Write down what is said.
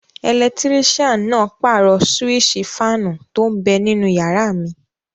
Ẹlẹtírísàn náà pàrọ̀ súwísì fáànù tó n bẹ ninú yàrá mi